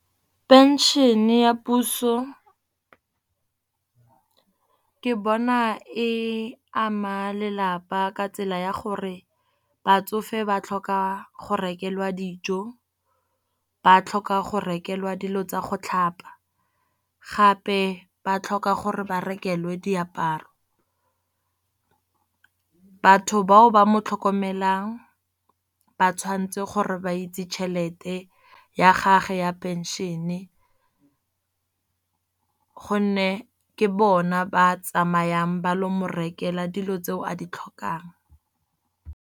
Pension ya puso ke bona e ama lelapa ka tsela ya gore batsofe ba tlhoka go rekelwa dijo, ba tlhoka go rekelwa dilo tsa go tlhapa, gape ba tlhoka gore ba rekelwe diaparo. Batho bao ba mo tlhokomelang ba tshwanetse gore ba itse tšhelete ya gage ya pension-e gonne ke bona ba tsamayang ba lo morekela dilo tse a di tlhokang.